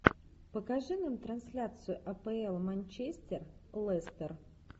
покажи нам трансляцию апл манчестер лестер